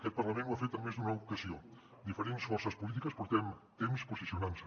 aquest parlament ho ha fet en més d’una ocasió diferents forces polítiques portem temps posicionant nos hi